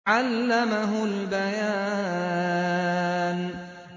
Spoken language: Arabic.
عَلَّمَهُ الْبَيَانَ